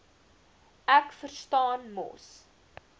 ek verstaan mos